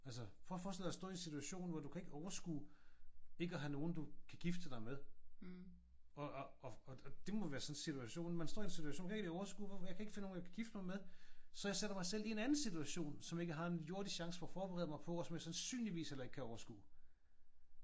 Altså prøv at forestille dig at stå i en situation hvor du kan ikke overskue ikke at have nogen du kan gifte dig med og og og det må være sådan en situation. Man står i en situation hey det er overskue jeg kan ikke finde nogen jeg kan gifte mig med så jeg sætter mig selv i en anden situation som jeg ikke har jordisk chance for at forberede mig på og sandsynligvis heller ikke kan overskue